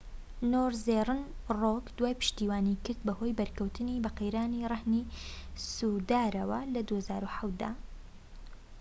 نۆرزێرن ڕۆك داوای پشتیوانی کرد بەهۆی بەرکەوتنی بە قەیرانی ڕەهنی سوودارەوە لە ٢٠٠٧ دا